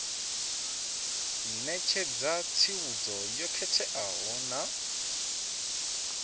ṋetshedza tsivhudzo yo khetheaho na